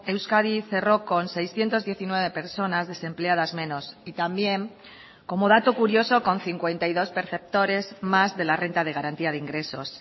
euskadi cerró con seiscientos diecinueve personas desempleadas menos y también como dato curioso con cincuenta y dos perceptores más de la renta de garantía de ingresos